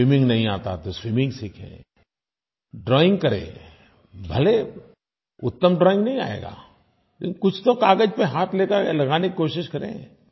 swimming नहीं आता तो स्विमिंग सीखें ड्राइंग करें भले उत्तम ड्राइंग नहीं आएगा लेकिन कुछ तो कागज़ पर हाथ लगाने की कोशिश करें